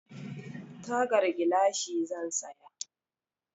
Tagar gilashi zan saya.